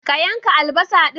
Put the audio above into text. Ka yanka albasa din?